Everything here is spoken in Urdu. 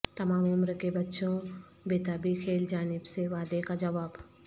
تمام عمر کے بچوں بیتابی کھیل جانب سے وعدے کا جواب